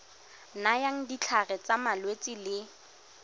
nayang ditlhare tsa malwetse le